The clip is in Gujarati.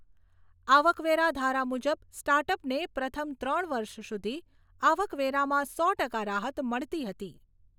આવકવેરા ધારા મુજબ સ્ટાર્ટઅપને પ્રથમ ત્રણ વર્ષ સુધી આવકવેરામાં સો ટકા રાહત મળતી હતી.